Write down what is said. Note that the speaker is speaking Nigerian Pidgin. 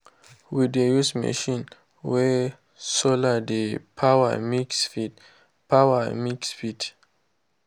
we dey use machine wey solar dey power mix feed. power mix feed.